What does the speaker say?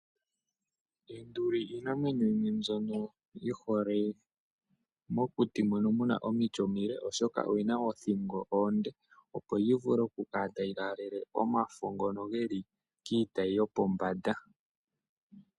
Eenduli iinamwenyo yimwe mbyono yihole mokuti mono omiti omile oshoka oyina oothingo oonde opo yivule okukala tayi laalele omafo ngono geli kiitayi yopombanda .